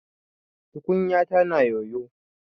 Tukunyata na yoyo.